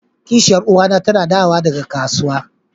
kishiyar uwa na tana dawowa daga kasuwa.